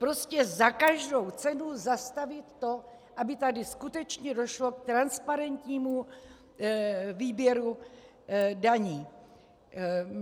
Prostě za každou cenu zastavit to, aby tady skutečně došlo k transparentnímu výběru daní.